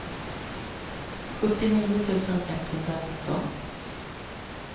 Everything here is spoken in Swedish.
sjuttionio tusen etthundranitton